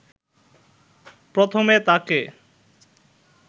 প্রথমে তাকে